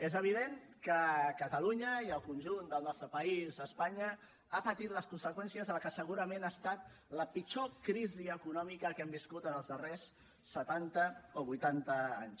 és evident que catalunya i el conjunt del nostre país espanya ha patit les conseqüències de la que segurament ha estat la pitjor crisi econòmica que hem viscut en els darrers setanta o vuitanta anys